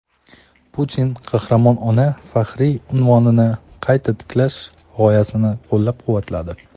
Putin "Qahramon ona" faxriy unvonini qayta tiklash g‘oyasini qo‘llab-quvvatladi.